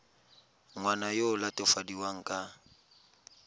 ngwana yo o latofadiwang ka